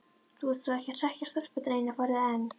Þú ert þó ekki að hrekkja stelpurnar eina ferðina enn!